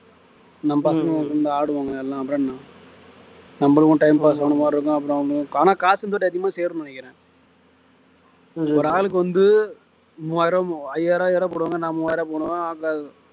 நம் பசங்க வந்து ஆடுவாங்க எல்லாம் அப்புறம் என்ன நம்மளுக்கும் time pass ஆன மாதிரி இருக்கும் அப்புறம் வந்து ஆனா காசு கொஞ்சம் அதிகமா சேரும்னு நினைக்கிறேன் ஒரு ஆளுக்கு வந்து மூவாயிரம் ரூபா மு~ ஐயாரம் ஐயாயிரம் ரூபா போடுவாங்க நான் மூவாயிரம் ரூபா போடுவேன் அங்க